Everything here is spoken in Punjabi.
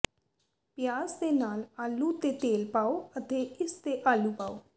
ਪਿਆਜ਼ ਦੇ ਨਾਲ ਆਲੂ ਤੇ ਤੇਲ ਪਾਓ ਅਤੇ ਇਸ ਤੇ ਆਲੂ ਪਾਓ